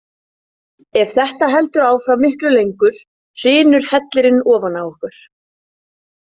Ef þetta heldur áfram miklu lengur hrynur hellirinn ofan á okkur.